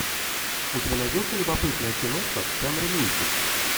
у тебя найдется любопытная киношка в жанре мультик